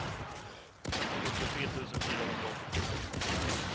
sjuttiotre tusen fyrahundraåttiotre